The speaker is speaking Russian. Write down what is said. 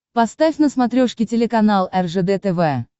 поставь на смотрешке телеканал ржд тв